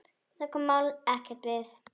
Það kom málinu ekkert við.